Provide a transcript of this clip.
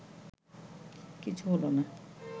কিছু হলো না